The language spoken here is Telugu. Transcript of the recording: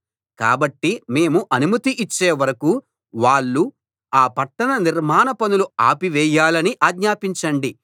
కాబట్టి మేము అనుమతి ఇచ్చే వరకూ వాళ్ళు ఆ పట్టణ నిర్మాణ పనులు ఆపివేయాలని ఆజ్ఞాపించండి